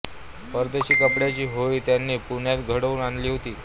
परदेशी कापडाची होळी त्यांनी पुण्यात घडवून आणली होती